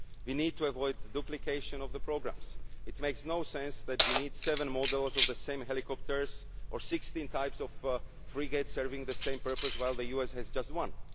We need to avoid duplication of programmes it makes no sense that we need seven models of the same helicopters or sixteen types of frigates serving the same purpose, while the US has just